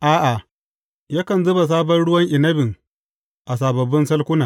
A’a, yakan zuba sabon ruwan inabin a sababbin salkuna.